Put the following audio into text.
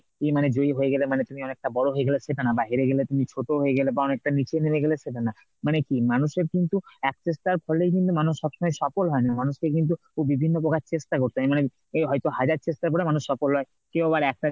এই মানে জয়ী হয়ে গেলে মানে তুমি অনেকটা বড় হয়ে গেলে সেটা না বা হেরে গেলে তুমি ছোট হয়ে গেলে বা অনেকটা নিচে নেমে গেলে সেটা না। মানে কি মানুষের কিন্তু এক চেষ্টার ফলে কিন্তু মানুষ সব সময় সফল হয় না মানুষকে কিন্তু বিভিন্ন প্রকার চেষ্টা করতে হয়। মানে এই হয়তো হাজার চেষ্টা করে মানুষ সফল হয় কেউ আবার একটা